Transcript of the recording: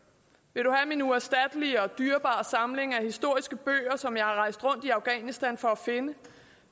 vil du have min uerstattelige og dyrebare samling af historiske bøger som jeg har rejst rundt i afghanistan for at finde